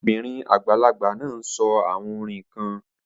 The old woman is saying some chants